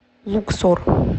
луксор